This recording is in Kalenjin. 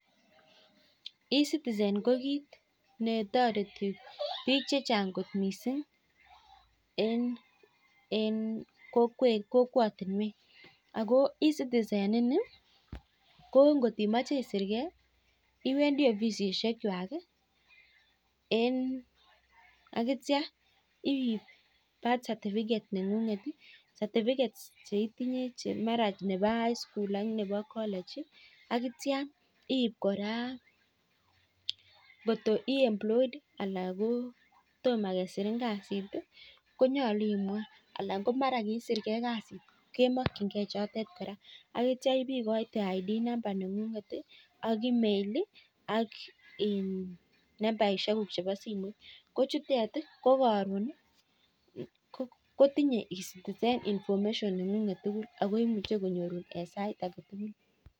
Ecitizen ko kiit netoreti biik chechan'g kot mising en kokwatinwek. Ako Ecitizen ini ko ngot imache isirgei ko iwendi ofisisiekwai akitio iip birth certificate neng'unget certificates cheitinye che mara ko chebo high school ak nebo college. Akitio iip kora koto ii employed anan ko toma kesirin kasi konyolu imwa anan ko mara kiisirgei kasi kemokchingei chotet kora. Akitio ibeigoite id number neng'unget ak email ak nambaishekuk chebo simoit. Ko chutet ko karon kotinyei Ecitizen information neng'unget tugul ako imuchei konyorun eng sait age tugul.